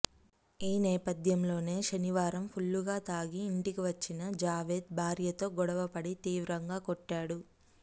ఈ నేపథ్యంలోనే శనివారం ఫుల్లుగా తాగి ఇంటికి వచ్చిన జావేద్ భార్యతో గొడవపడి తీవ్రంగా కొట్టాడు